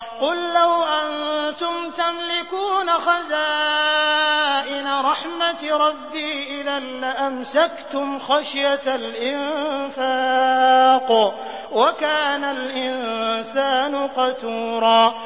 قُل لَّوْ أَنتُمْ تَمْلِكُونَ خَزَائِنَ رَحْمَةِ رَبِّي إِذًا لَّأَمْسَكْتُمْ خَشْيَةَ الْإِنفَاقِ ۚ وَكَانَ الْإِنسَانُ قَتُورًا